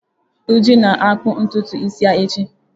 Uju na akpu ntutu isi ya echi.